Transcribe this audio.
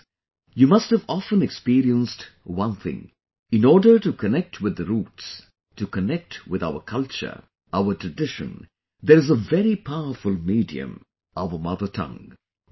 Friends, you must have often experienced one thing, in order to connect with the roots, to connect with our culture, our tradition, there's is a very powerful medium our mother tongue